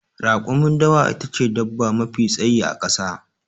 Rakumin dawa ita ce dabba mafi tsayi a ƙasa.